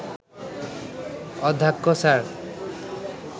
অধ্যক্ষ স্যার